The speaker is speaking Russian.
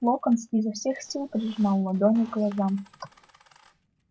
локонс изо всех сил прижимал ладони к глазам